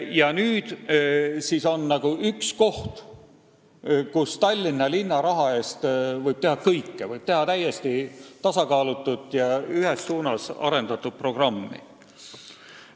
Ja siiski on meil üks koht, kus võib Tallinna linna raha eest kõike teha – võib teha täiesti tasakaalutut ja ühes suunas arendatud programmi.